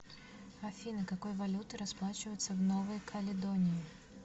афина какой валютой расплачиваются в новой каледонии